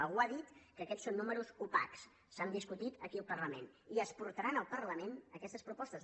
algú ha dit que aquests són números opacs s’han discutit aquí al parlament i es portaran al parlament aquestes propostes